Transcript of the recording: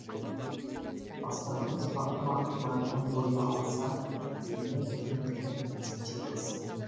бастығымыз бақтыбайдың бойы аласа дене бітімі де нәзіктеу кісі